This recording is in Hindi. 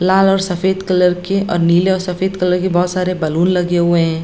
लाल और सफेद कलर के और नीले और सफेद कलर के बहुत सारे बैलून लगे हुए है।